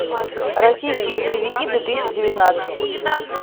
российские боевики две тысячи девятнадцать